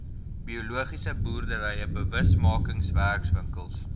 biologiese boerdery bewusmakingswerkswinkels